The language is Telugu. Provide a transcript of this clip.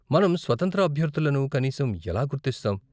మనం స్వతంత్ర అభ్యర్ధులను కనీసం ఎలా గుర్తిస్తాం?